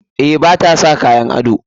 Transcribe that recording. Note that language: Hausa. Eh, ba ta sa kayan ado.